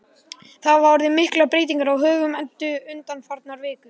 Það hafa orðið miklar breytingar á högum Eddu undanfarnar vikur.